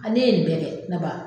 Ale ye nin bɛɛ kɛ ne ba